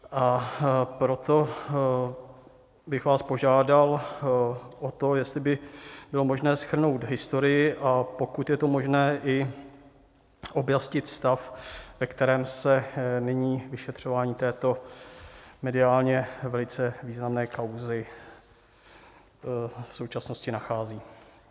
A proto bych vás požádal o to, jestli by bylo možné shrnout historii, a pokud je to možné, i objasnit stav, ve kterém se nyní vyšetřování této mediálně velice významné kauzy v současnosti nachází.